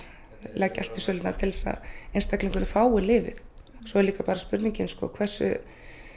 leggja allt í sölurnar til að einstaklingurinn fái lyfið svo er spurningin um hversu